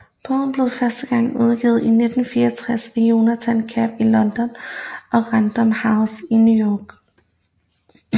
Bogen blev første gang udgivet i 1964 af Jonathan Cape i London og Random House i New York